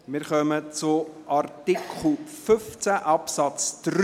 Wir kommen zur Abstimmung zum Artikel 15 Absatz 3.